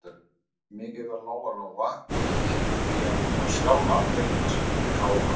Mikið var Lóa-Lóa fegin, því að hún var sjálf alveg að springa úr hlátri.